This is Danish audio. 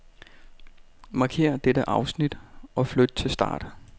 Markér dette afsnit og flyt til start.